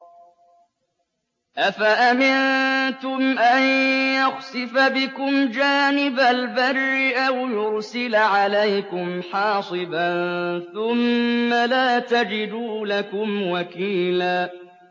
أَفَأَمِنتُمْ أَن يَخْسِفَ بِكُمْ جَانِبَ الْبَرِّ أَوْ يُرْسِلَ عَلَيْكُمْ حَاصِبًا ثُمَّ لَا تَجِدُوا لَكُمْ وَكِيلًا